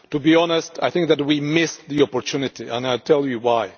To be honest, I think that we missed the opportunity, and I will tell you why.